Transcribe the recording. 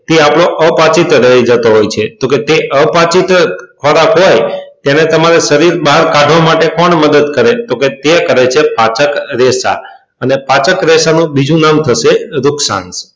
tab બ આપડો અપાચિત રહી જતો હોય છે તો કે તે અ પછીત ખોરાક હોય તેને તમારે શરીર બહાર કાઢવા માટે કોણ મદદ કરે તો કે તે કરે પાચક રેશા અને પાચક રેશા નું બીજું નામ થશે